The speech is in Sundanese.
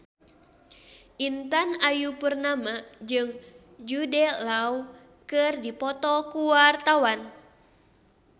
Intan Ayu Purnama jeung Jude Law keur dipoto ku wartawan